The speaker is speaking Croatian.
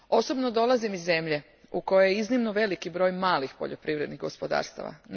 Osobno dolazim iz zemlje u kojoj je iznimno velik broj malih poljoprivrednih gospodarstava.